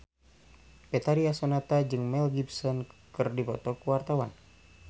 Betharia Sonata jeung Mel Gibson keur dipoto ku wartawan